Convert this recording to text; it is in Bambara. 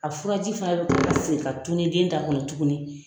A furaji fana bɛ segin ka tɔnn den ta kɔnɔ tuguni.